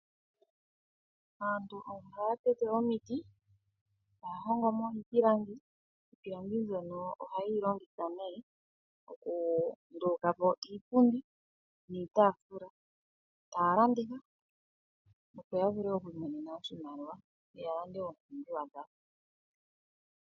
Aantu ohaya tete omiiti e taya hongo mo iipilangi, iipilangi mbyoka ohaye yi longitha okunduluka po iipundi niitafula e taya landitha opo yavule oku iimonena oshimaliwa yalande oompumbiwa dhawo.